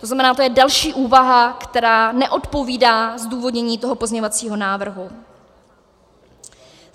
To znamená, to je další úvaha, která neodpovídá zdůvodnění toho pozměňovacího návrhu.